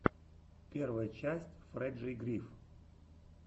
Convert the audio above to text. первая часть фрэджей гриф